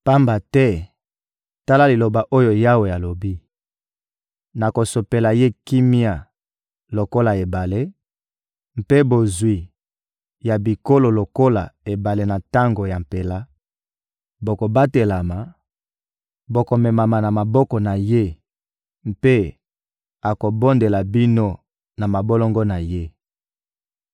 Pamba te, tala liloba oyo Yawe alobi: «Nakosopela ye kimia lokola ebale, mpe bozwi ya bikolo lokola ebale na tango ya mpela; bokobatelama, bokomemama na maboko na ye mpe akobondela bino na mabolongo na ye.